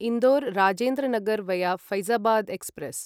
Indore Rajendra Nagar via Faizabad express